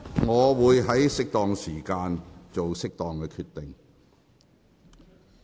我會在適當的時候，作適當的決定。